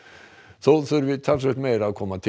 þó þurfi talsvert meira að koma til